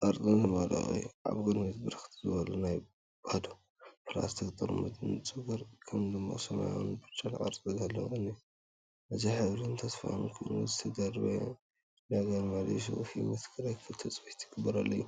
ቅርጽን ዝመልኦ እዩ። ኣብ ቅድሚት ብርክት ዝበሉ ባዶ ፕላስቲክ ጥርሙዝ፤ ንጹርን ከም ድሙቕ ሰማያውን ብጫን ቅርጺ ዘለዎን እዩ። እዚ ሕብርን ተስፋን ኮይኑ፡ዝተደርበየ ነገር መሊሱ ህይወት ክረክብ ትጽቢት ዝግበረሉ እዩ።